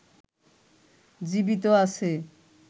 জীবিত আছে